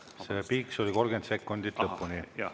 See piiks oli 30 sekundit lõpuni.